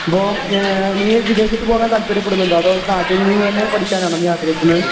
ബോം, ഞാ..നീ വിദേശത്തുപോകാൻ താല്പര്യപ്പെടുന്നുണ്ടോ? അതോ നാട്ടിൽ നിന്നുതന്നെ പഠിക്കാനാണോ നീ ആഗ്രഹിക്കുന്നത്?